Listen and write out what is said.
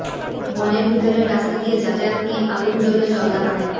বনের ভিতরের রাস্তা দিয়ে যাতায়াত নিয়ে আগুন জ্বলল জলদাপাড়ায়